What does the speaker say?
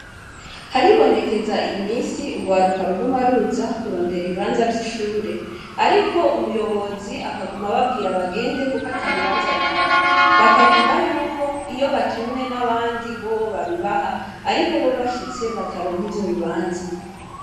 Haribonekeza iyiminsi urwaruka ruguma ruza kurondera ibibanza vyishure ariko umuyobozi akaguma ababwira bagenda kuko atabibanza bihari bakavuga yuko iyo batumwe nabandi bobo babibaha ariko bobo bashitse bataronka ivyobibanza